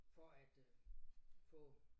For at øh få